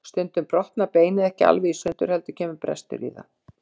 Stundum brotnar beinið ekki alveg í sundur heldur kemur brestur í það.